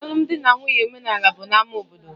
Alụmdi na nwunye omenaala bụ na ámá obodo